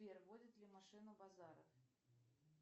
сбер водит ли машину базаров